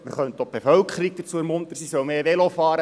Man könnte die Bevölkerung dazu ermuntern, mehr Velo zu fahren.